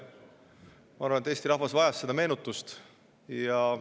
Ma arvan, et Eesti rahvas vajas seda meenutust.